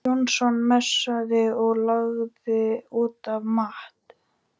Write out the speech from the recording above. Jónsson messaði og lagði út af Matt.